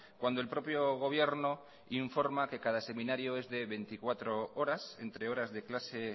cuando el propio gobierno informa que cada seminario es de veinticuatro horas entre horas de clase